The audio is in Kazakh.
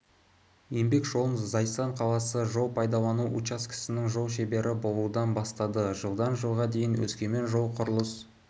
еңбек жолын зайсан қаласы жол пайдалану учаскесінің жол шебері болудан бастады жылдан жылға дейін өскемен жол-құрылыс